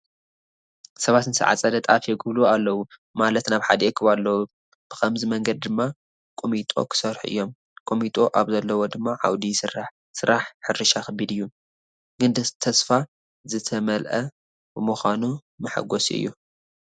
ሰባት ንዝተዓፀደ ጣፍ የጉብልዉ ኣለዉ፡፡ ማለት ናብ ሓደ ይእክቡ ኣለዉ፡፡ ብኸምዚ መንገዲ ድማ ቁሚጦ ክሰርሑ እዮም፡፡ ቁሚጦ ኣብ ዘለዎ ድማ ዓውዲ ይስራሕ፡፡ ስራሕ ሕርሻ ከቢድ እዩ፡፡ ግን ተስፋ ዝተመአ ብምዃኑ መሓጐሲ እዩ፡፡